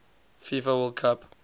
fifa world cup